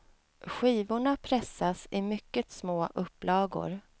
Skivorna pressas i mycket små upplagor.